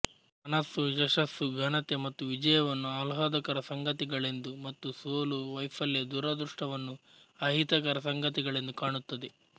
ಮನಸ್ಸು ಯಶಸ್ಸು ಘನತೆ ಮತ್ತು ವಿಜಯವನ್ನು ಆಹ್ಲಾದಕರ ಸಂಗತಿಗಳೆಂದು ಮತ್ತು ಸೋಲು ವೈಫಲ್ಯ ದುರಾದೃಷ್ಟವನ್ನು ಅಹಿತಕರ ಸಂಗತಿಗಳೆಂದು ಕಾಣುತ್ತದೆ